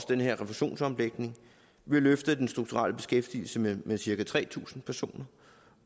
den her refusionsomlægning vil løfte den strukturelle beskæftigelse med med cirka tre tusind personer